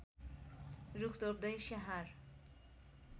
रूख रोप्दै स्याहार